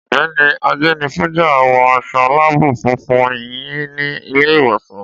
Ọ̀gbẹ́ni Ajenifuja, wọ aṣọ láàbù funfun yín ní ilé ìwòsàn.